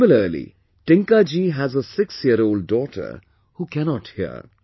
Similarly, Tinkaji has a sixyearold daughter who cannot hear